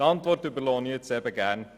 Die Antwort überlasse ich Ihnen.